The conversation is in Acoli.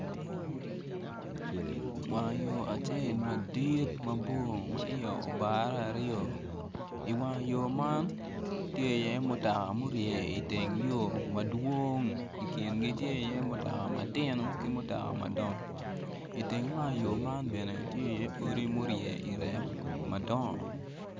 Wango yo acel madit ma iye obare aryo i wang yo man tye iye mutoka murye iye madwong i kingi tye iye mutoka matino ki mutoka madongo i teng wang yo man bene tye iye odi murye i reko madongo.